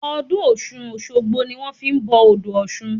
Ọdún ọ̀ṣun-òṣogbo ni wọn fi n bọ odò ọ̀ṣun